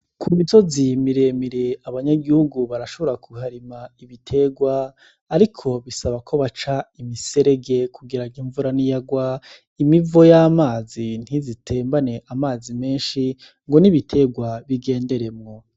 Ku misozi miremire, abanyagihugu barashobora kuharima ibiterwa ariko bisaba ko baca imiserege kugira ngo imvura n'iyagwa, imivo y'amazi ntize itembane amazi menshi ngo n'ibiterwa bigenderemwo.